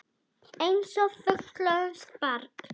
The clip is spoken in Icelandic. Einsog fullorðið barn.